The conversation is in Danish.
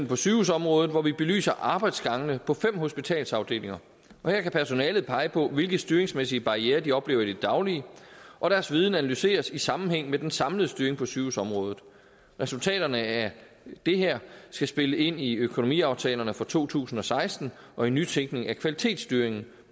på sygehusområdet hvor vi belyser arbejdsgangene på fem hospitalsafdelinger her kan personalet pege på hvilke styringsmæssige barrierer de oplever i det daglige og deres viden analyseres i sammenhæng med den samlede styring på sygehusområdet resultaterne af det her skal spille ind i økonomiaftalerne for to tusind og seksten og i nytænkning af kvalitetsstyringen